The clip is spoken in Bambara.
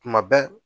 Tuma bɛɛ